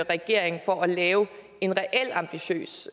regering for at lave en reel ambitiøs